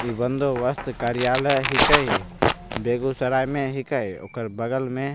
इ बंदोबस्त कार्यालय हिके बेगुसराय मे हिके ओकर बगल मे --